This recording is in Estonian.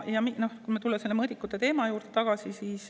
Tuleme korraks selle mõõdikute teema juurde tagasi.